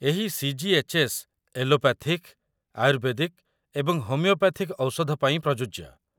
ଏହି CGHS. Allopathic, ayurvedic ଏବଂ homeopathic ଔଷଧ ପାଇଁ ପ୍ରଯୁଜ୍ୟ